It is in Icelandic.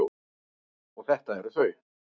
Og þetta eru þau.